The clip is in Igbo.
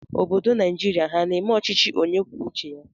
Obodo Naịjirịa ha na-eme ọchịchị onye kwuo uche ya.